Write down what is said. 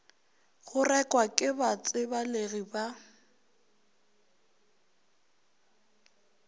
go rekwa ke batsebalegi ba